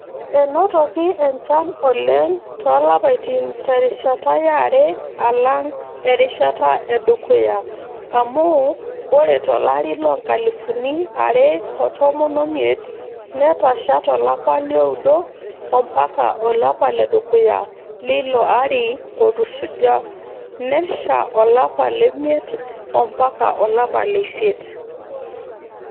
Enotiki enchan oleng toolapaitin terishata yare alang erishata edukuya amuu ore tolari loo nkalifuni are otomon omiet netasha tolapa lioudo ampaka olapa ledukuya leilo ari otusujua nesha olapa lemiet ampaka olapa leisiet.